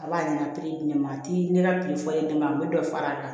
A b'a di ne ma di ne ma a ti ne ka piri fɔ ne ma a bɛ dɔ fara a kan